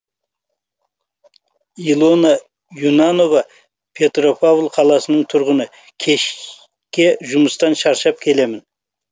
илона юнанова петропавл қаласының тұрғыны кешке жұмыстан шаршап келемін